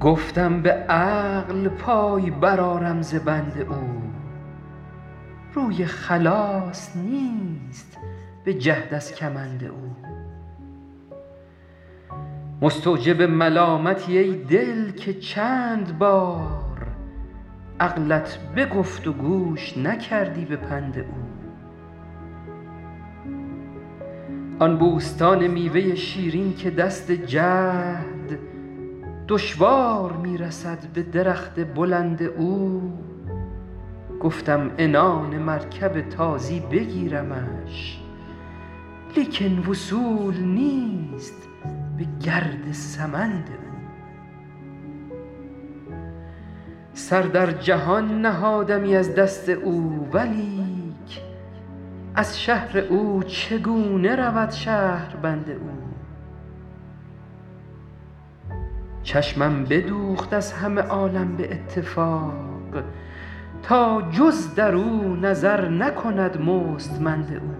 گفتم به عقل پای برآرم ز بند او روی خلاص نیست به جهد از کمند او مستوجب ملامتی ای دل که چند بار عقلت بگفت و گوش نکردی به پند او آن بوستان میوه شیرین که دست جهد دشوار می رسد به درخت بلند او گفتم عنان مرکب تازی بگیرمش لیکن وصول نیست به گرد سمند او سر در جهان نهادمی از دست او ولیک از شهر او چگونه رود شهربند او چشمم بدوخت از همه عالم به اتفاق تا جز در او نظر نکند مستمند او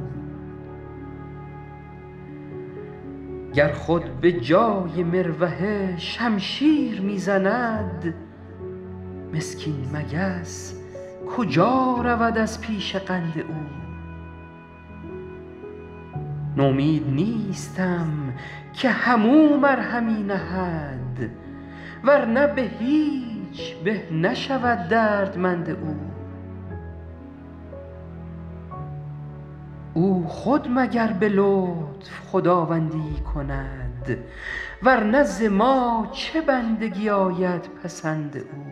گر خود به جای مروحه شمشیر می زند مسکین مگس کجا رود از پیش قند او نومید نیستم که هم او مرهمی نهد ور نه به هیچ به نشود دردمند او او خود مگر به لطف خداوندی ای کند ور نه ز ما چه بندگی آید پسند او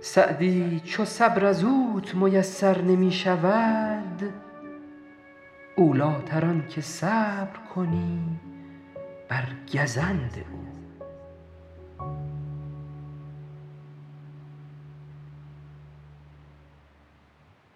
سعدی چو صبر از اوت میسر نمی شود اولی تر آن که صبر کنی بر گزند او